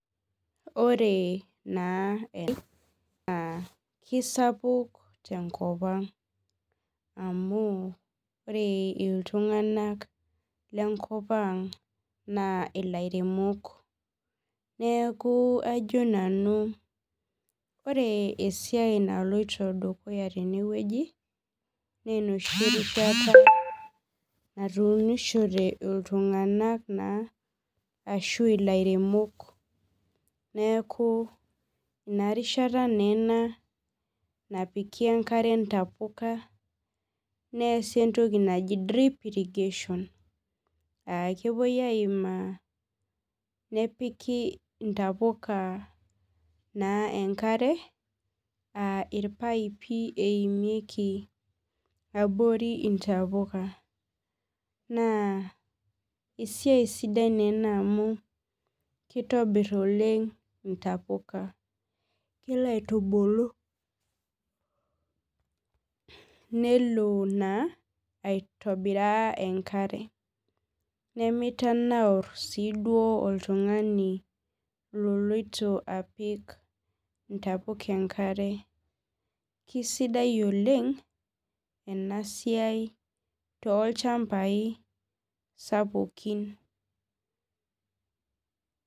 Ore na ena kisapuk tenkopang amu ore ltunganak lenkopaang na lairemok neaku ajo nanu ore esiai naloto dukuya tenewueji na enoshi rishata natuunishore ltunganak ashu laremok neaku inarishata na ena napiki enkere napuka neasi entoki naji drip irrigation akepuoi aimaa nepiki ntapuka naa enkare aa irpaipi eimieki abori ntamuka na esiai sidai ena kitobir oleng ntapukanilo aitubulu nelobaiboriraa enkare nemelo aikilikwan oltungani loloito apik ntapuka enkare kesidai oleng enasiai tolchambai sapukin .